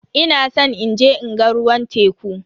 Ina san inje in ga ruwan teku.